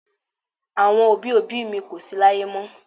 Àwọn òbí òbí mi kò sí láyé mọ́.